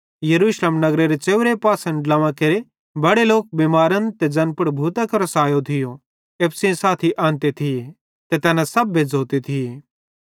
यरूशलेम नगरेरे च़ेव्रे पासना ड्लोंवां केरे बड़े लोक बिमारन ते ज़ैन पुड़ भूतां केरो सैयो एप्पू सेइं साथी आनते थिये ते तैना सब बेज़्झ़ोते थिये